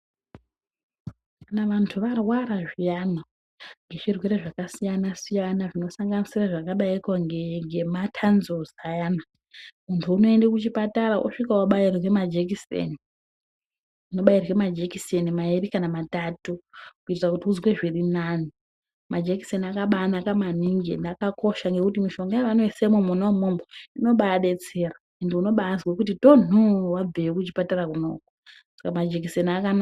Kana vantu varwara zviyana ngezvi rwere zvaka siyana siyana zvino sanganisira zvaka daiko ne matanzewusi ayana muntu unoende ku chipatara osvika obairwe majekiseni obairwe majekiseni mairi kana matatu kuitira kuti uzwe zviri nani majekiseni akabai naka maningi ende akakosha ngekuti mishonga ya ano isemwo mwona imwomwo inobai detsera unobaizwe kuti tonho wabveyo ku chipatara konako saka majekisera akanaka.